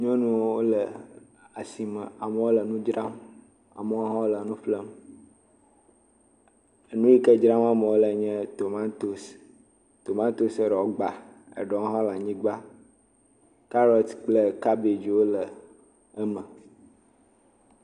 Nyɔnuwo le asime. Amewo le nu dzram. Amewo hã le nuƒlem. Enu yike dzram ame wo le nye tomatosi, tomatosia ɛewo gbã, eɖewo hã le anyigbã. Carrot kple cabbagewo hã le eme.